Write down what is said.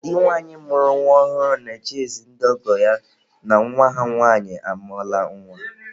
Di nwanyị mụrụ nwa ọhụrụ na-eje ezi ndị ọgọ ya na nwa ha nwanyị amụọla nwa.